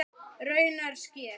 Raunar sker